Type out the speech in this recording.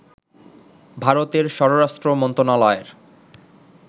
ভারতের স্বরাষ্ট্র মন্ত্রণালয়ের